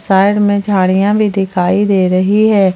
Bag में झाड़ियां भी दिखाई दे रही हैं।